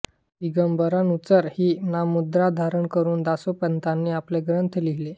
दिगंबरानुचर ही नाममुद्रा धारण करून दासोपंतांनी आपले ग्रंथ लिहिले